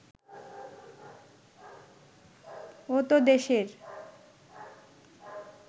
ও তো দেশের